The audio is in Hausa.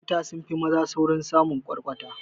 Mata sunfi maza saurin samin kwarkwata